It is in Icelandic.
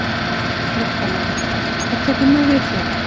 Fréttamaður: Hvað tekur nú við hjá þér?